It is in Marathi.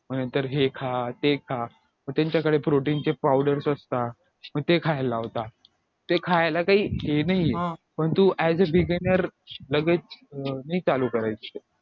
नंतर हे खा ते खा मग त्यांच्याकडे protein चे powders असतात मग ते खायला लावतात ते खायला काही हे नाहीये पण तू as a beganer लगेच अं नाही चालू करायच